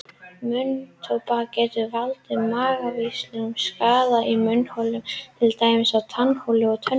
Munntóbak getur valdið margvíslegum skaða í munnholi til dæmis á tannholdi og tönnum.